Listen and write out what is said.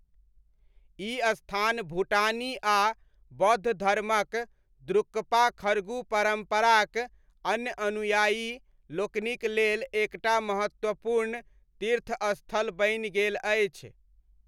ई स्थान भूटानी आ बौद्ध धर्मक द्रुक्पा खरगु परम्पराक अन्य अनुयायी लोकनिक लेल एक टा महत्वपूर्ण तीर्थस्थल बनि गेल अछि।